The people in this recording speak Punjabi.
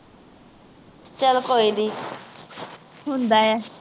ਚੱਲ ਕੋਈ ਨੀ ਹੁੰਦਾ ਹੈ